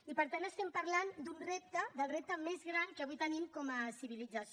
i per tant estem parlant d’un repte del repte més gran que avui tenim com a civilització